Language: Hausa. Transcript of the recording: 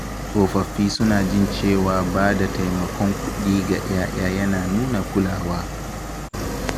Tsofaffi suna jin cewa ba da taimakon kuɗi ga 'ya'ya yana nuna kulawa